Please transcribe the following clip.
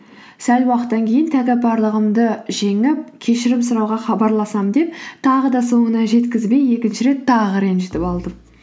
сәл уақыттан кейін тәкәппарлығымды жеңіп кешірім сұрауға хабарласамын деп тағы да соңына жеткізбей екінші рет тағы ренжітіп алдым